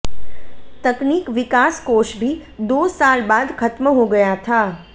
तकनीक विकास कोष भी दो साल बाद खत्म हो गया था